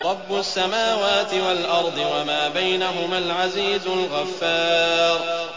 رَبُّ السَّمَاوَاتِ وَالْأَرْضِ وَمَا بَيْنَهُمَا الْعَزِيزُ الْغَفَّارُ